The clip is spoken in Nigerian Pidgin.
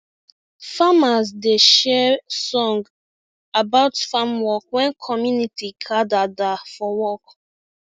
farmers da share song about farm work when commuinty gada da for work